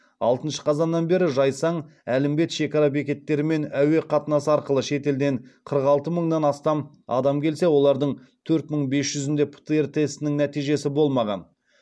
алтыншы қазаннан бері жайсаң әлімбет шекара бекеттері мен әуе қатынасы арқылы шетелден қырық алты мыңнан астам адам келсе олардың төрт мың бес жүзінде птр тестінің нәтижесі болмаған